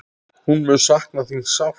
Hún mun sakna þín sárt.